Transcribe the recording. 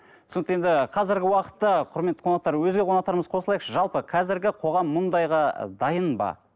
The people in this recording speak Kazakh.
түсінікті енді қазіргі уақытта құрметті қонақтар өзге қонақтарымыз қосылайықшы жалпы қазіргі қоғамға мұндайға дайын ба